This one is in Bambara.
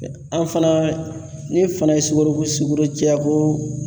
an fana ne fana ye sukoro ko sukoro cɛya ko